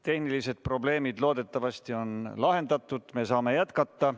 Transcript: Tehnilised probleemid on loodetavasti lahendatud, me saame jätkata.